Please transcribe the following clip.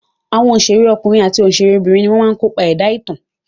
Àwọn òṣèré ọkùnrin àti òṣèré obìnrin ni wọ́n máa ń kopa ẹ̀dá ìtàn.